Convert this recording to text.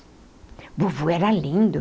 O vovô era lindo.